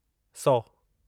सौ